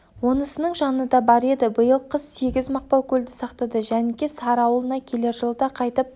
онысының жаны да бар еді биыл қыс сегіз мақпалкөлді сақтады жәніке-сары ауылына келер жылы да қайтып